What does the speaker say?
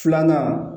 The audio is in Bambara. Filanan